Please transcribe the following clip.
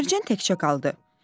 Mərcan təkcə qaldı.